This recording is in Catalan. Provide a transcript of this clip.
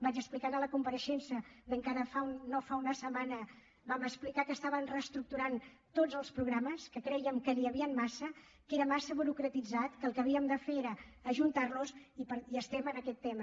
vaig explicar a la compareixença d’encara no fa una setmana vam explicar ho que reestructuràvem tots els programes que crèiem que n’hi han massa que és massa burocratitzat que el que havíem de fer és ajuntar los i estem amb aquest tema